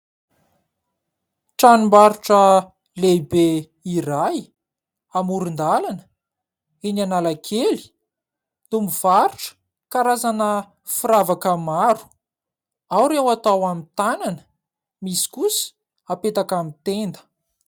Tranombarotro lehibe iray amoron-dalana eny Analakely no mivarotra karazana firavaka maro, ao ireo atao amin'ny tanana misy kosa apetaka amin'ny tenda.